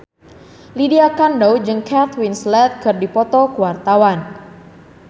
Lydia Kandou jeung Kate Winslet keur dipoto ku wartawan